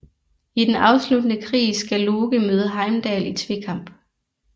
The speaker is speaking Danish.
I den afsluttende krig skal Loke møde Heimdall i tvekamp